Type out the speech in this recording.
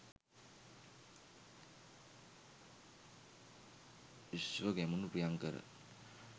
ශ්ව Gamunu Priyankara